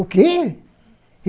O quê?